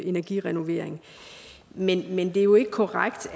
energirenovering væk men det er jo ikke korrekt